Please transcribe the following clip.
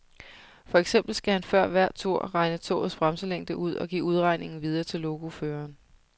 For eksempel skal han før hver tur regne togets bremselængde ud og give udregningen videre til lokoføreren.